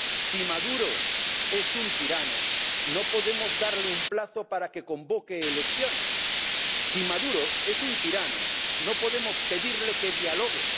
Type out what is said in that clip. Si Maduro es un tirano, no podemos darle un plazo para que convoque elecciones. Si Maduro es un tirano, no podemos pedirle que dialogue.